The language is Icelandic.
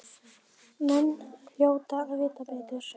Menn hljóta að vita betur.